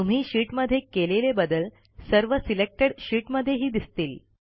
तुम्ही शीटमध्ये केलेले बदल सर्व सिलेक्टेड शीट मध्येही दिसतील